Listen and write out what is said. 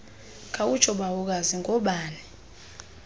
khawutsho bawokazi ngoobani